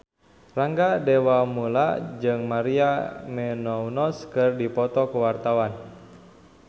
Rangga Dewamoela jeung Maria Menounos keur dipoto ku wartawan